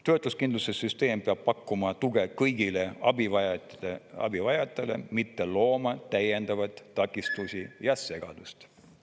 Töötuskindlustussüsteem peab pakkuma tuge kõigile abivajajatele, mitte looma täiendavaid takistusi ja segadust.